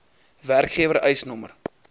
werkgewer eis nr